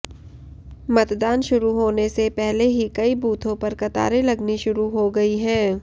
मतदान शुरू होने से पहले ही कई बूथों पर कतारें लगनी शुरू हो गई है